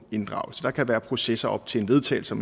inddraget der kan være processer op til en vedtagelse